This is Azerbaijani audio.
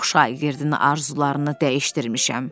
Çox şagirdini arzularını dəyişdirmişəm.